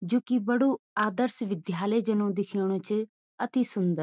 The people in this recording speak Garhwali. जू की बडू आदर्श विध्यालय जनु दिखेणु च अति सुन्दर।